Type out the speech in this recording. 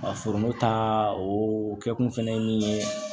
Foro ta o kɛkun fɛnɛ ye min ye